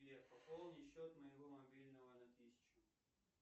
сбер пополни счет моего мобильного на тысячу